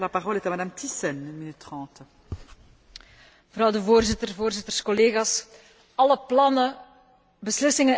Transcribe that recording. Voorzitter, voorzitters, collega's, alle plannen, beslissingen en wetten staan of vallen met de uitvoering ervan.